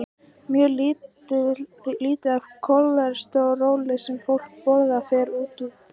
Mjög lítið af því kólesteróli sem fólk borðar fer út í blóðrásina.